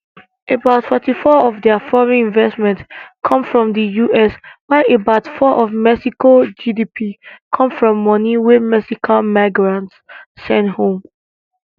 about 44 of dia foreign investment come from di us while about 4 of mexico gdp come from money wey mexican migrants send home